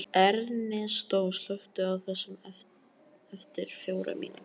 Ernestó, slökktu á þessu eftir fjórar mínútur.